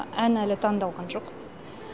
ән әлі таңдалған жоқ